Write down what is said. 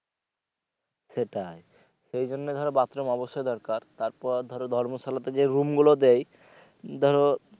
সেটাই এইজন্য ধরো bathroom অবশ্যই দরকার তারপর ধরো ধর্মশালাতে যে room গুলো দেয় ধরো।